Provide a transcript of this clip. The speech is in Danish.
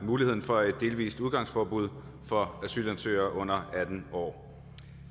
muligheden for et delvis udgangsforbud for asylansøgere under atten år